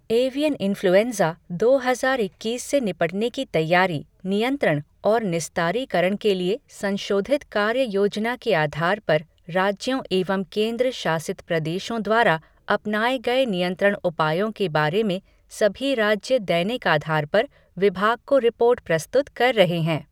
Avian influenza दो हज़ार इक्कीस से निपटने की तैयारी, नियंत्रण और निस्तारीकरण के लिए संशोधित कार्य योजना के आधार पर राज्यों एवं केंद्र शासित प्रदेशों द्वारा अपनाए गए नियंत्रण उपायों के बारे में सभी राज्य दैनिक आधार पर विभाग को रिपोर्ट प्रस्तुत कर रहे हैं।